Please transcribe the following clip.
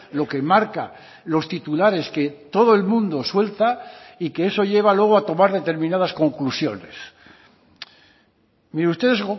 lo que marca los titulares que todo el mundo suelta y que eso lleva luego a tomar determinadas conclusiones mire ustedes